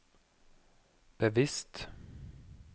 bevisst